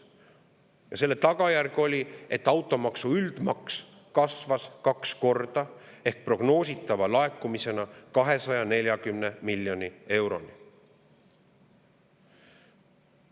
Ja selle tagajärg oli see, et üldine automaks kasvas kaks korda ehk prognoositav laekumine 240 miljoni euroni.